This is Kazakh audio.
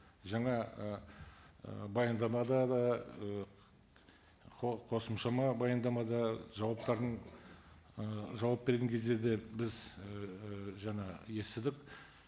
жаңа ііі баяндамада да ііі қосымшама баяндамада жауаптарын ііі жауап берген кездерде біз ііі жаңа естідік